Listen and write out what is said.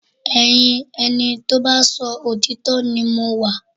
Ẹyin ẹni tó bá ṣòtítọ́ ni mo wà